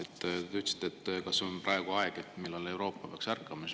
Te, kas praegu on aeg, millal Euroopa peaks ärkama.